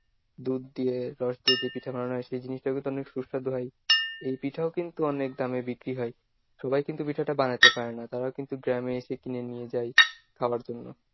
দুধ দিয়ে রস দিয়ে যে পিঠা বানানো হয় সেই জিনিসটাও কিন্তু অনেক সুস্বাদু হয়। এই পিঠাও কিন্তু অনেক দামে বিক্রি হয়। সবাই কিন্তু পিঠাটা বানাইতে পারেনা। তারাও কিন্তু গ্রামে এসে কিনে নিয়ে যায় খাবার জন্য।